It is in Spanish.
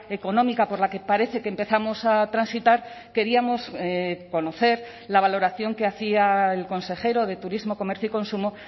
económica por la que parece que empezamos a transitar queríamos conocer la valoración que hacía el consejero de turismo comercio y consumo